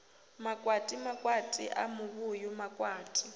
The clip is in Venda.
makwati makwati a muvhuyu makwati